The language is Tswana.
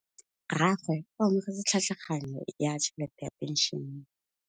Rragwe o amogetse tlhatlhaganyô ya tšhelête ya phenšene.